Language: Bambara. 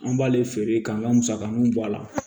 An b'ale feere k'an ka musakaninw bɔ a la